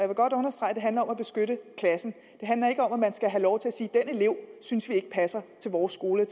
vil godt understrege at det handler om at beskytte klassen det handler ikke om at man skal have lov til at sige den elev synes vi ikke passer til vores skole